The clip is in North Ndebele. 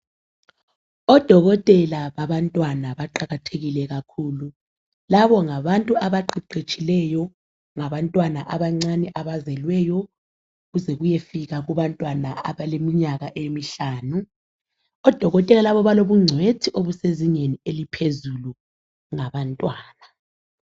Odokotela babantwana baqakathekile kakhulu. Labo ngabantu abaqeqetshileyo ngabantwana abancane abazelweyo kuze kuyefika kubantwana abaleminyaka emihlanu. Odokotela labo balobungcwethi obusezingeni eliphezulu ngabantwana.